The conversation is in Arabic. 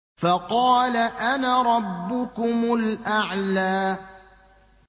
فَقَالَ أَنَا رَبُّكُمُ الْأَعْلَىٰ